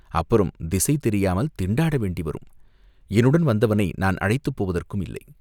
அப்புறம் திசை தெரியாமல் திண்டாட வேண்டி வரும்." "என்னுடன் வந்தவனை நான் அழைத்துப் போவதற்கும் இல்லை.